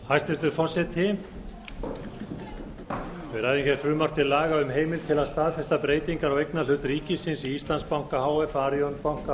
hæstvirtur forseti við ræðum hér frumvarp til laga um heimild til að staðfesta breytingar á eignarhlut ríkisins í íslandsbanka h f arion banka